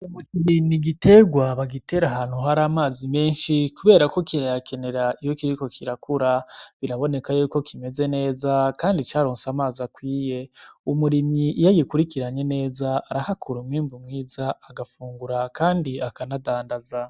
Umuceri n'igiterwa bagitera ahantu hari amazi menshi kubera ko kirayakenera iyo kiriko kirakura biraboneka ko kimeze neza kandi caronse amazi akwiye, umurimyi iyo agikurikiranye neza arahakura umwimbu mwiza agafungura kandi akanadandaza